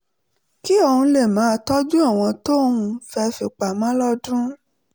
kí òun lè máa tọ́jú owó tóun fẹ́ fi pamọ́ lọ́dún